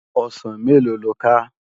Òsán méló ló ká?